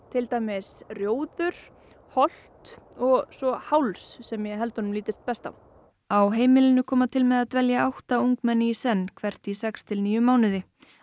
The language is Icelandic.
til dæmis rjóður Holt og svo Háls sem ég helt að honum lítist best á á heimilinu koma til með að dvelja átta ungmenni í senn hvert í sex til níu mánuði